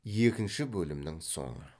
екінші бөлімнің соңы